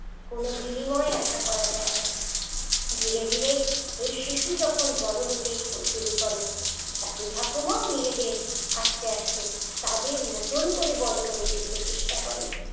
কোন বিনিময় আশা করা যায় না ধীরে ধীরে এই শিশু যখন বড় হতে ব শুরু করে দাদু ঠাকুমা ও নিজেদের আস্তে আস্তে তাদের মতন করে বড় করে তুলতে চেষ্টা করে